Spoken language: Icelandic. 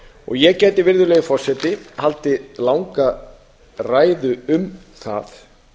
og ég gæti virðulegi forseti haldið langa ræðu um það